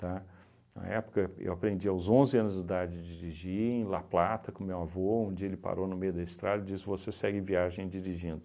Tá? Na época, eu aprendi aos onze anos de idade dirigir em La Plata, com meu avô, onde ele parou no meio da estrada e disse, você segue viagem dirigindo.